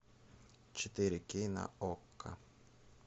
четыре кей на окко